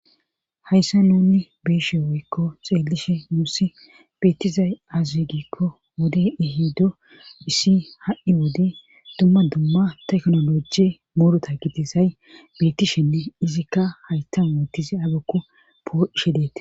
hayssa nuni be'eshe woykko xeelishe nussi beettizay aze gikko wode ehido issi ha'i wode dumma dumma teknoloje murota gidizay bettishenne izikka haytan woottise agyibkko po'ishe deetes